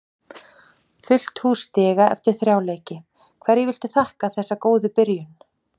Fullt hús stiga eftir þrjá leiki, hverju viltu þakka þessa góðu byrjun?